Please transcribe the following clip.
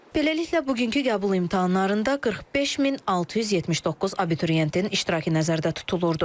Beləliklə, bugünkü qəbul imtahanlarında 45679 abituriyentin iştirakı nəzərdə tutulurdu.